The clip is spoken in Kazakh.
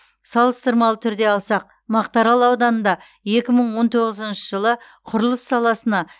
салыстырмалы түрде алсақ мақтарал ауданында екі мың он тоғызыншы жылы құрылыс саласына